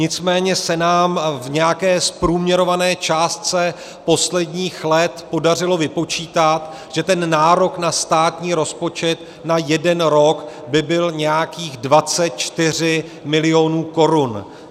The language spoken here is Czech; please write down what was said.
Nicméně se nám v nějaké zprůměrované částce posledních let podařilo vypočítat, že ten nárok na státní rozpočet na jeden rok by byl nějakých 24 milionů korun.